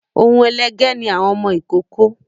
Oun ẹlẹgẹ́ ni àwọn ọmọ ìkókó